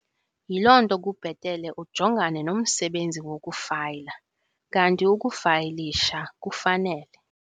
Yiloo nto kubhetele ujongane nomsebenzi wokufayila, kanti ukufayilisha kufanele.